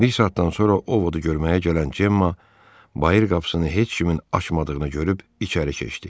Bir saatdan sonra Ovodu görməyə gələn Cemma bayır qapısını heç kimin açmadığını görüb içəri keçdi.